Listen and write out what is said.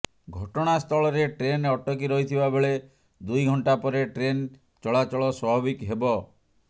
ଘଟଣା ସ୍ଥଳରେ ଟ୍ରେନ ଅଟକି ରହିଥିବା ବେଳେ ଦୁଇ ଘଂଟା ପରେ ଟ୍ରେନ୍ ଚଳାଚଳ ସ୍ୱାଭାବିକ ହେବ